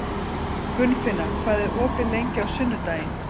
Gunnfinna, hvað er opið lengi á sunnudaginn?